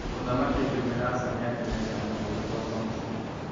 Mũthamaki akĩmwĩra aca nĩakenete mũno gũcoka mũciĩ.